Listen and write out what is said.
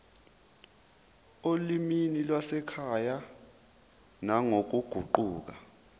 olimini lwasekhaya nangokuguquka